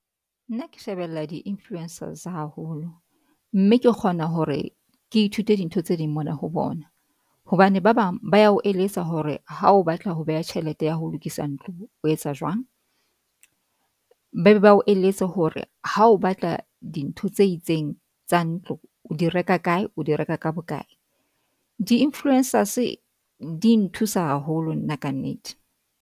Nna ke shebella di-influencers haholo. Mme ke kgona hore ke ithute dintho tse ding mona ho bona hobane ba bang ba ya ho eletsa hore ha o batla ho beha tjhelete ya ho lokisa ntlo o etsa jwang. Ba be ba o eletse hore ha o batla dintho tse itseng tsa ntlo, o di reka kae? O di reka ka bokae? Di-influencers di nthusa haholo nna kannete.